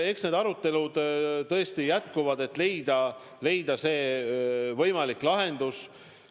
Eks need arutelud tõesti jätkuvad, et leida võimalik lahendus.